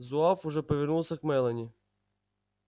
зуав уже повернулся к мелани